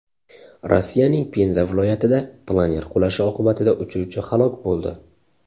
Rossiyaning Penza viloyatida planer qulashi oqibatida uchuvchi halok bo‘ldi.